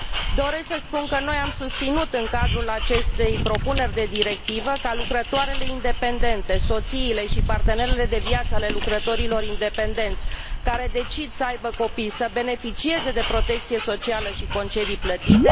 Doresc să spun că noi am susținut, în cadrul acestei propuneri de directivă, ca lucrătoarele independente, soțiile și partenerele de viață ale lucrătorilor independenți care decid să aibă copii să beneficieze de protecție socială și concedii plătite.